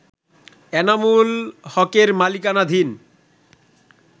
এনামুল হকের মালিকানাধীন